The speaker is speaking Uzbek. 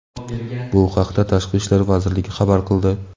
Bu haqida Tashqi ishlar vazirligi xabar qildi.